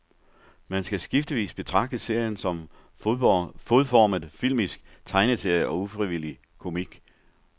Man skal skiftevis betragte serien som fodformet filmisk tegneserie og ufrivillig komik.